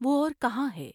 وہ اور کہاں ہے